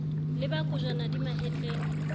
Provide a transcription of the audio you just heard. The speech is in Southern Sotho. le ba kojwana di mahetleng